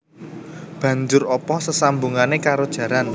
Banjur apa sesambungane karo jaran